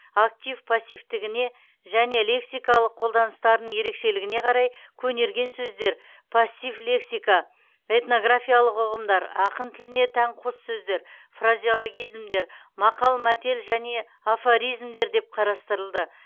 актив пассивтігіне және лексикалық қолданыстарының ерекшелігіне қарай көнерген сөздер пассив лексика этнографиялық ұғымдар ақын тіліне тән қос сөздер фразеологизмдер мақал мәтел мен афоризмдер деп қарастырылды